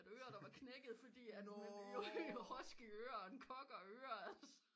Et øre der var knækket fordi at man har husky øre og en cocker øer